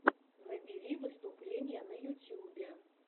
набери выступления на ютьюбе